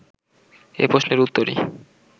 এ প্রশ্নের উত্তরই